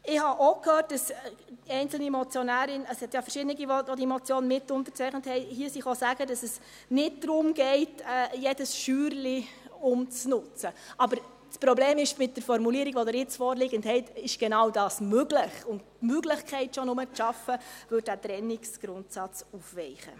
Ich habe auch gehört, dass einzelne Motionärinnen und Motionäre – es gibt ja mehrere, welche die Motion mitunterzeichnet haben – hier gesagt haben, dass es nicht darum gehe, jede kleine Scheuer umzunutzen, aber das Problem ist: Mit der Formulierung, die Sie jetzt vorliegend haben, ist genau dies möglich, und schon nur diese Möglichkeit zu schaffen, würde den Trennungsgrundsatz aufweichen.